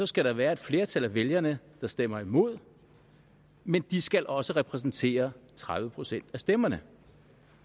skal der være et flertal af vælgerne der stemmer imod men de skal også repræsentere tredive procent af stemmerne